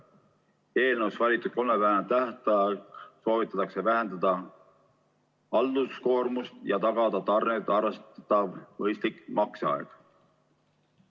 Eelnõus valitud 30-päevase tähtajaga soovitakse vähendada halduskoormust ja tagada arvestatav mõistlik makseaeg.